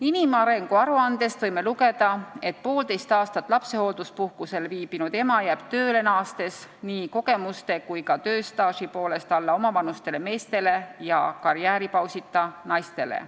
Inimarengu aruandest võime lugeda, et poolteist aastat lapsehoolduspuhkusel viibinud ema jääb tööle naastes nii kogemuste kui ka tööstaaži poolest alla omavanustele meestele ja karjääripausita naistele.